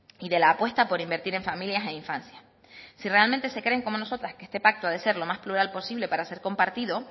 y de la apuesta por invertir en familias e infancia si realmente se creen como nosotras que este pacto ha de ser lo más plural posible para ser compartido